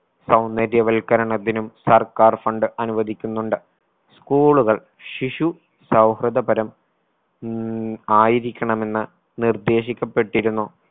സൗന്ദര്യവൽക്കരണത്തിനും സർക്കാർ fund അനുവദിക്കുന്നുണ്ട്. school കൾ ശിശു സൗഹൃദപരം ഉം ആയിരിക്കണമെന്ന് നിർദ്ദേശിക്കപ്പെട്ടിരുന്നു.